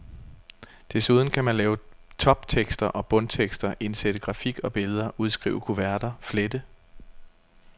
Desuden kan man lave toptekster og bundtekster, indsætte grafik og billeder, udskrive kuverter, flette.